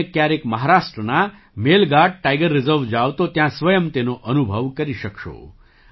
જો તમે ક્યારેક મહારાષ્ટ્રના મેલઘાટ ટાઇગર રિઝર્વ જાવ તો ત્યાં સ્વયં તેનો અનુભવ કરી શકશો